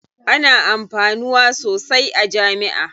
Ana amfanuwa sosai a jami'a.